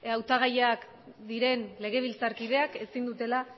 hautagaiak diren legebiltzarkideak ezin dutela